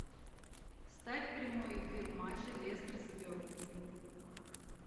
ставь прямой эфир матча лестер с бернли